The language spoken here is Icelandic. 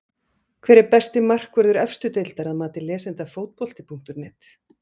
Hver er besti markvörður efstu deildar að mati lesenda Fótbolti.net?